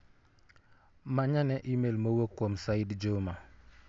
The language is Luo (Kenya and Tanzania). Manyane imel m owuok kuom Said Juma